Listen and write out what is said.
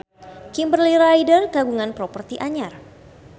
Kimberly Ryder kagungan properti anyar